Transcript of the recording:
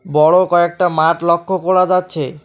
বড় কয়েকটা মাঠ লক্ষ করা যাচ্ছে।